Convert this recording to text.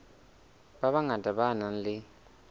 ba bangata ba nang le